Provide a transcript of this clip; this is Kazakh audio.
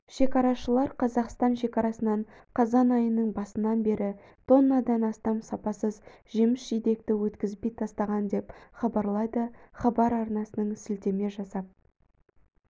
шекарашылар қазақстан шекарасынан қазан айының басынан бері тоннадан астам сапасыз жеміс-жидекті өткізбей тастаған деп хабарлайды хабар арнасына сілтеме жасап